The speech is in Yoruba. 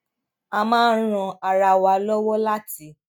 a máa ń ran ara wa lówó láti